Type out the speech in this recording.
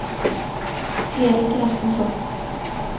Eric Rasmusson